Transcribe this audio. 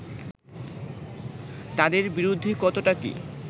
তাদের বিরুদ্ধে কতটা কি